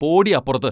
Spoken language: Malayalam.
പോടീ അപ്പുറത്ത്?